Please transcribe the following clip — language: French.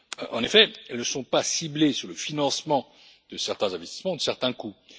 En effet, elles ne sont pas ciblées sur le financement de certains investissements, de certains coûts.